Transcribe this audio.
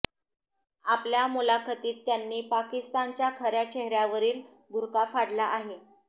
आपल्या मुलाखतीत त्यांननी पाकिस्तानच्या खऱ्या चेहऱ्यावरील बुरखा फाडला आहे